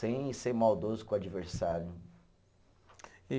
Sem ser maldoso com o adversário. E